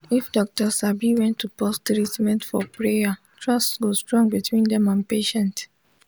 if doctor sabi when to pause treatment for prayer trust go strong between dem and patient.